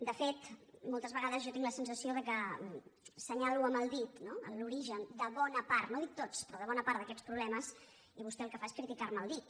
de fet moltes vegades jo tinc la sensació que assenya·lo amb el dit no l’origen de bona part no dic tots pe·rò de bona part d’aquests problemes i vostè el que fa és criticar·me el dit